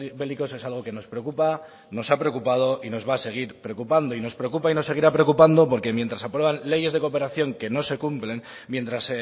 bélicos es algo que nos preocupa nos ha preocupado y nos va a seguir preocupando y nos preocupa y nos seguirá preocupando porque mientras aprueban leyes de cooperación que no se cumplen mientras